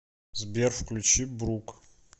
сбер включи брук